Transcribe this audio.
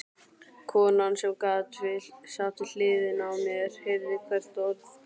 Konan sem sat við hliðina á mér heyrði hvert orð.